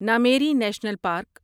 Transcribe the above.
Nameri national park